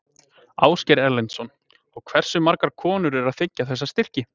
Ásgeir Erlendsson: Og hversu margar konur eru að þiggja þessa styrki?